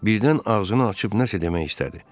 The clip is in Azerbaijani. Birdən ağzını açıb nəsə demək istədi.